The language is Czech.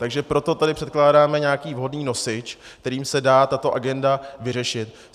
Takže proto tady předkládáme nějaký vhodný nosič, kterým se dá tato agenda vyřešit.